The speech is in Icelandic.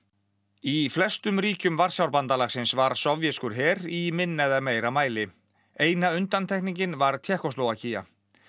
í flestum ríkjum Varsjárbandalagsins var sovéskur her í minna eða meira mæli eina undantekningin var Tékkóslóvakía